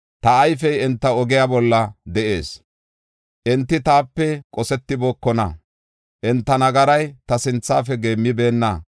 Ta ayfey enta ogiya bolla de7ees; enti taape qosetibookona; enta nagaray ta sinthafe geemmibeenna.